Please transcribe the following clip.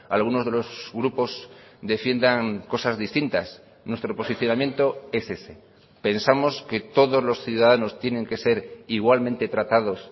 algunos de los grupos defiendan cosas distintas nuestro posicionamiento es ese pensamos que todos los ciudadanos tienen que ser igualmente tratados